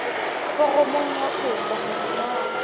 foromong ya kopo hore na